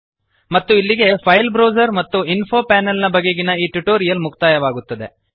ಮತ್ತು ಇಲ್ಲಿಗೆ file browser ಮತ್ತು ಇನ್ಫೊ ಪ್ಯಾನೆಲ್ ಬಗೆಗಿನ ಈ ಟ್ಯುಟೋರಿಯಲ್ ಮುಕ್ತಾಯವಾಗುತ್ತದೆ